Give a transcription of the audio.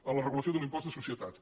a la regulació de l’impost de societats